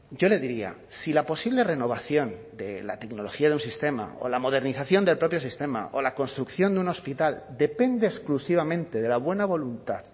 yo le diría si la posible renovación de la tecnología de un sistema o la modernización del propio sistema o la construcción de un hospital depende exclusivamente de la buena voluntad